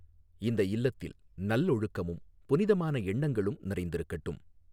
இந்த இல்லத்தில் நல்லொழுக்கமும், புனிதமான எண்ணங்களும் நிறைந்திருக்கட்டும்.